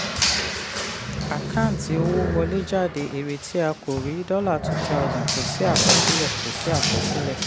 àkáǹtì owó wọlé/jáde: èrè tí a kò rí; dollar two thousand; kò sí àkọsílẹ̀. kò sí àkọsílẹ̀.